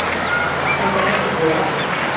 Þetta er ekki búið að versna.